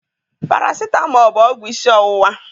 Parasitamọl bụ ọgwụ isi ọwụwa.